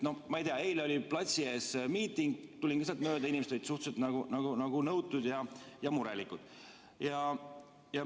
No ma ei tea, eile oli platsil miiting, tulin lihtsalt mööda, inimesed olid suhteliselt nõutud ja murelikud.